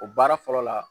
O baara fɔlɔ la